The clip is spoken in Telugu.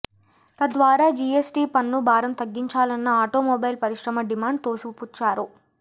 తద్వారా జీఎస్టీ పన్ను భారం తగ్గించాలన్న ఆటోమొబైల్ పరిశ్రమ డిమాండ్ తోసిపుచ్చారు